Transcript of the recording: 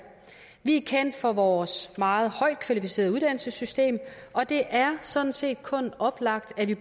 vi er kendt for vores meget højt kvalificerede uddannelsessystem og det er sådan set kun oplagt at vi